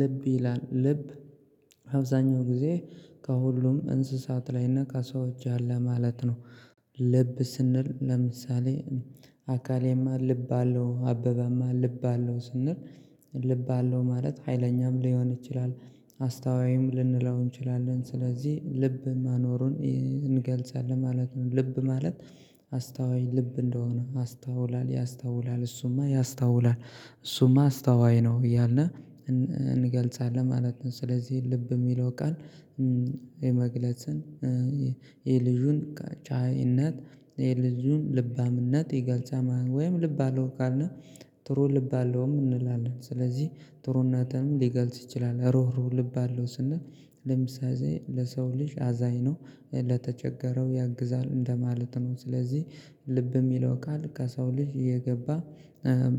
ልብ ይላል ልብ አብዛኛው ግዜ ከሁሉም እንስሳት ላይ እና ከሰዎች ያለ ማለት ነው። ልብ ስንል ለምሳሌ አካሌማ ልብ አለው አበበማ ልብ አለው ስንል ልብ አለው ማለት ሀይለኛም ሊሆን ይችላል። አስተዋይም ልንለው እንችላለን ስለዚህ ልብ ማኖሩን እንገልጻለን ማለት ነው። ልብ ማለት አስታወይ ልብ እንደሆነ አስታውላል ያስታውላል እሱማ ያስታውላል እሱማ አስተዋይ ነው እያልና እንገልጻለን ማለት ነው። ስለዚህ ልብ የሚለው ቃል የመግለጽን የልጁን ቻይ እነት የልጁን ልባም እነት የገልጻል ወይም ልብ አለው ካልነ ጥሩ ልብ አለውም እንላለን። ስለዚህ ጥሩ ነትም ሊገልጽ ይችላል ሩሁ ሩሁ ልብ አለው ስንል ለምሳሌ ለሰው ልጅ አዛኝ ነው ለተቸገረው ያግዛል እንደማለት ነው። ስለዚህ ልብ የሚለው ቃል ከሰው ልጅ የገባ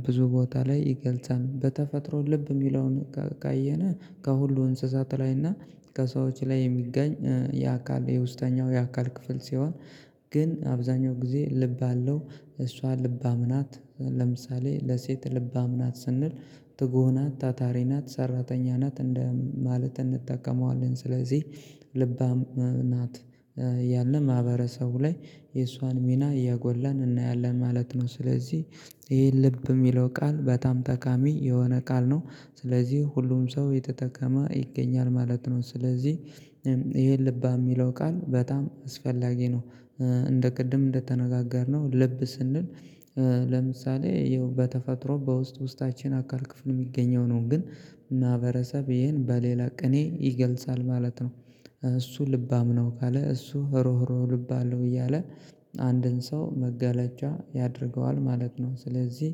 ብዙ ቦታ ላይ ይገልጻል። በተፈጥሮ ልብ የሚለውን ካየን ከሁሉ እንስሳት ላይ እና ከሰዎች ላይ የሚገኝ የአካል የውስጠኛው የአካል ክፍል ሲሆን። ግን አብዛኛው ጊዜ ልብ አለው እሷ ልባም ናት ለምሳሌ ለሴት ልባም ናት ስንል ትጉህ ናት ታታሪ ናት ሰራተኛ ናት እንደ ማለት እንጠቀመዋለን ስለዚህ ልባም ናት። ያለ ማህበረሰቡ ላይ የእሷን ሚና እያጎላን እናያለን ማለት ነው። ስለዚህ ይሄ ልብ የሚለው ቃል በጣም ጠቃሚ የሆነ ቃል ነው። ስለዚህ ሁሉም ሰው የተጠቀመ ይገኛል ማለት ነው ስለዚህ ይሄ ልባም የሚለው ቃል በጣም አስፈላጊ ነው። እንደ ቅድም እንደተነጋገርነው ልብ ስንል ለምሳሌ ይኸው በተፈጥሮ በውስጥ ውስጣችን አካል ክፍል የሚገኘው ነው ግን ማህበረሰብ ይሄን በሌላ ቅኔ ይገልጻል ማለት ነው። እሱ ልባም ነው ካለ እሱ ሩህ ሩህ ልብ አለው እያለ አንድን ሰው መገለጫ ያደርገዋል ማለት ነው። ስለዚህ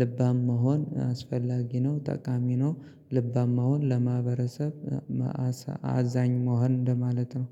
ልባም መሆን አስፈላጊ ነው ጠቃሚ ነው። ልባም መሆን ለማህበረሰብ መአሳ አዛኝ መሆን እንደማለት ነው።